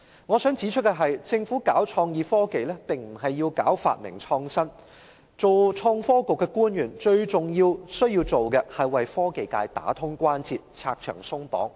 我想指出的是，政府搞創意科技並不是要搞發明創新，做創新及科技局的官員最重要的工作是為科技界打通關節，拆牆鬆綁。